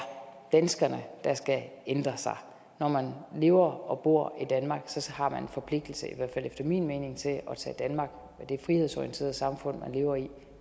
danskerne der skal ændre sig når man lever og bor i danmark har man en forpligtelse i hvert fald efter min mening til at tage danmark og det frihedsorienterede samfund man lever i